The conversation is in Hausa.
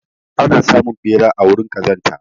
Ana samun ɓera a wurin ƙazanta.